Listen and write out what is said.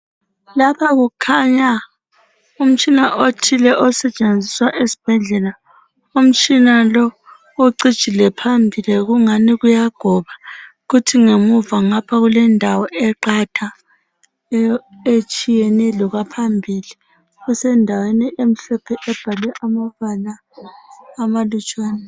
Lapha kukhanya umtshina othile osetshenziswa esibhedlela. Umtshina lo ucijile phambili kungani kuyagoba kuthi ngemuva ngapha kulendawo eqatha etshiyeneyo lokwaphambili. Kusendaweni emhlophe ebhalwe amabala amalutshwana.